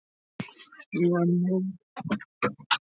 Svona, svona, kallinn, sagði Emil hughreystandi.